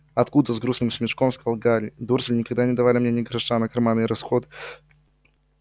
откуда с грустным смешком сказал гарри дурсли никогда не давали мне ни гроша на карманные расходы